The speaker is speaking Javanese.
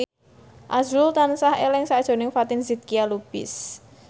azrul tansah eling sakjroning Fatin Shidqia Lubis